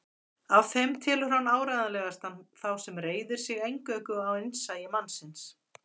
Af þeim telur hann áreiðanlegasta þá sem reiðir sig eingöngu á innsæi mannsins.